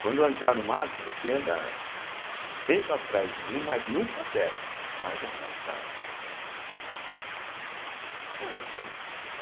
Quando eu entrar no mato, você anda sempre atrás de mim, mas nunca perto, mais afastado. eh e